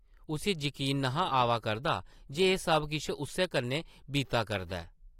उस्सी यकीन न’हा आवा करदा जे एह् सब किश उस्सै कन्नै बीता करदा ऐ ।